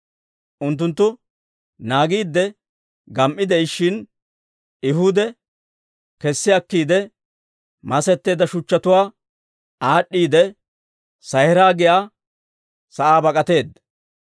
Unttunttu naagiidde gam"i de'ishshin, Ehuudi kessi akkiide, masetteedda shuchchatuwaa aad'd'iidde, Sa'iira giyaa sa'aa bak'atteedda.